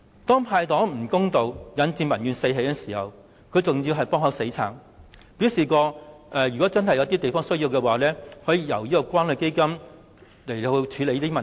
當"派糖"不公道，引致民怨四起時，特首還"幫口死撐"，表示有需要時可由關愛基金處理相關問題。